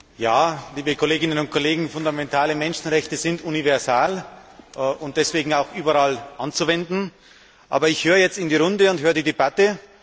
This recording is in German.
Frau Präsidentin! Ja, liebe Kolleginnen und Kollegen, fundamentale Menschenrechte sind universal und deshalb auch überall anzuwenden. Aber ich höre jetzt in die Runde und höre die Debatte.